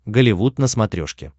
голливуд на смотрешке